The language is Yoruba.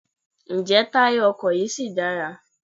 Ǹjẹ́ táyà ọkọ̀ yí ṣì dára?